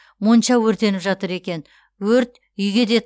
монша өртеніп жатыр екен өрт үйге де